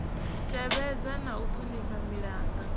tevhedza na u ṱhonifha milanga